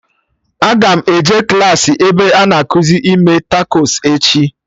Aga m eje klaasị ebe a na-ekuzi ime takos echi